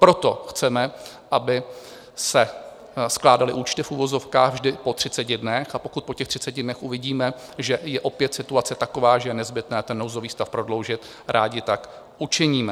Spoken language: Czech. Proto chceme, aby se skládaly účty v uvozovkách vždy po 30 dnech, a pokud po těch 30 dnech uvidíme, že je opět situace taková, že je nezbytné ten nouzový stav prodloužit, rádi tak učiníme.